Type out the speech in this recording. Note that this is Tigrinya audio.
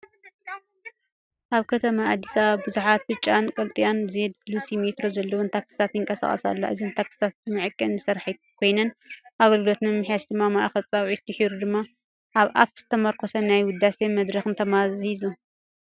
ኣብ ከተማ ኣዲስ ኣበባ ብዙሓት ብጫን ቀጠልያን ዜድ-ሉሲ ሜትሮ ዘለወን ታክሲታት ይንቀሳቐሳ ኣለዋ። እዘን ታክሲታት ብመዐቀኒ ዝሰርሓ ኮይነን፡ ኣገልግሎተን ንምምሕያሽ ድማ ማእከል ጻውዒትን ድሒሩ ድማ ኣብ ኣፕ ዝተመርኮሰ ናይ ውዳሴ መድረኽን ተማሂዙ።